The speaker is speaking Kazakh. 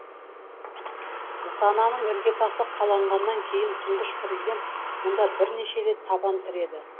нысананың іргетасы қаланғаннан кейін тұңғыш президент мұнда бірнеше рет табан тіреді